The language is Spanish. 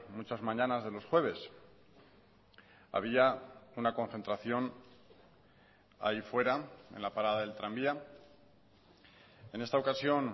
muchas mañanas de los jueves había una concentración ahí fuera en la parada del tranvía en esta ocasión